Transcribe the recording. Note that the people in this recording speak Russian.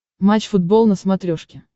матч футбол на смотрешке